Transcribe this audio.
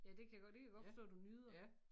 Ja det kan jeg godt det kan jeg godt forstå du nyder